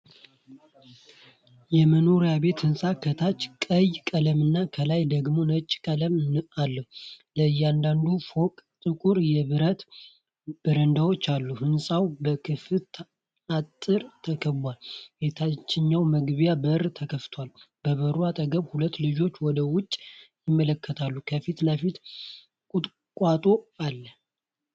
የመኖሪያ ሕንፃ ከታች ቀይ ቀለምና ከላይ ደግሞ ነጭ ቀለም አለው። ለእያንዳንዱ ፎቅ ጥቁር የብረት በረንዳዎች አሉ። ሕንፃው በከፍታ አጥር ተከቧል፤ የታችኛው መግቢያ በር ተከፍቷል። በበሩ አጠገብ ሁለት ልጆች ወደ ውጭ ይመለከታሉ፤ ከፊት ለፊት ቁጥቋጦ አለ።